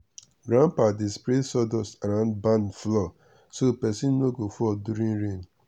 grandpa dey spray sawdust around barn floor so person no go fall during rain.